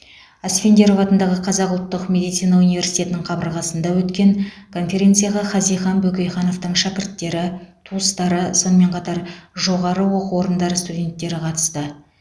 асфендияров атындағы қазақ ұлттық медицина университетінің қабырғасында өткен конференцияға хазихан бөкейхановтың шәкірттері туыстары сонымен қатар жоғары оқу орындары студенттері қатысты